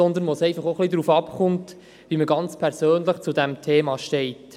Vielmehr hängt es hier einfach auch ein wenig davon ab, wie man ganz persönlich zu diesem Thema steht.